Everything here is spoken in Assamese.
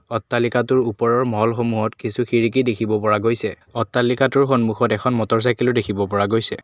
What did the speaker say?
অট্টালিকাটোৰ ওপৰৰ মলসমূহত কিছু খিৰিকী দেখিব পৰা গৈছে অট্টালিকাটোৰ সন্মুখত এখন মটৰ চাইকেলো দেখিব পৰা গৈছে।